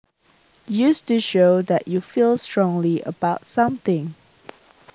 used to show that you feel strongly about something